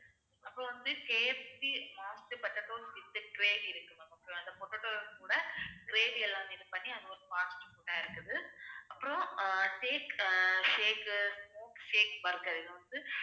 அப்புறம் வந்து KFCmast potato இருக்கு ma'am okay வா அந்த potato கூட gravy எல்லாமே இது பண்ணி அது ஒரு fast food ஆ இருக்குது. அப்புறம் take shake mook shake burger இது வந்து